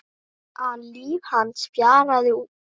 an líf hans fjaraði út.